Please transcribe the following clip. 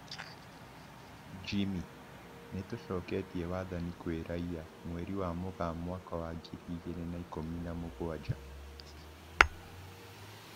Jimmy: Nitũcoketie wathani kwĩ raia, mweri wa Mũgaa mwaka wa ngiri igĩrĩ na ikũmi na mũgwanja